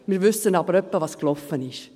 Wir wissen aber ungefähr, was gelaufen ist.